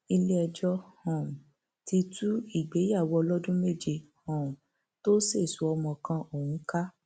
iléẹjọ um ti tú ìgbéyàwó ọlọdún méje um tó sèso ọmọ kan ọhún ká